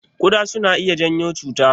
Kuɗa suna iya janyo cuta?